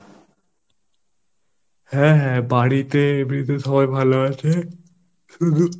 হ্যাঁ হ্যাঁ বাড়িতে এমনি সবাই ভালো আছে? শুধু